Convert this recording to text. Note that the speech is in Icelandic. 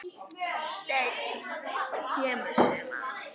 Senn kemur sumar.